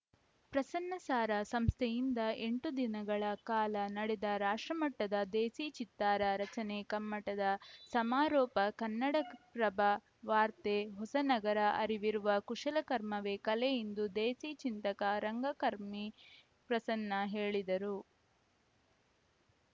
ಪ್ರಸನ್ನ ಸಾರಾ ಸಂಸ್ಥೆಯಿಂದ ಎಂಟು ದಿನಗಳ ಕಾಲ ನಡೆದ ರಾಷ್ಟ್ರಮಟ್ಟದ ದೇಸಿ ಚಿತ್ತಾರ ರಚನೆ ಕಮ್ಮಟದ ಸಮಾರೋಪ ಕನ್ನಡಪ್ರಭ ವಾರ್ತೆ ಹೊಸನಗರ ಅರಿವಿರುವ ಕುಶಲಕರ್ಮವೇ ಕಲೆ ಎಂದು ದೇಸಿ ಚಿಂತಕ ರಂಗಕರ್ಮಿ ಪ್ರಸನ್ನ ಹೇಳಿದರು